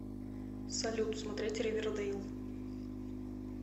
салют смотреть ривердэйл